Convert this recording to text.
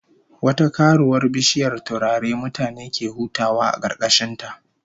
Wata karuwar bishiyar turare mutane ke hutawa a karkashin ta